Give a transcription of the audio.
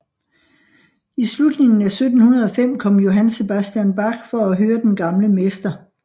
I slutningen af 1705 kom Johann Sebastian Bach for at høre den gamle mester